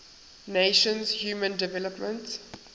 nations human development